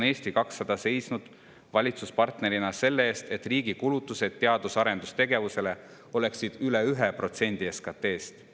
Eesti 200 on seisnud valitsuspartnerina selle eest, et riigi kulutused teadus- ja arendustegevusele oleksid üle 1% SKT-st.